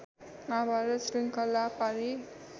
माहाभारत श्रृङ्खला पारी